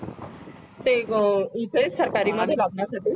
ते इथे सरकारी मध्ये लावण्यासाठी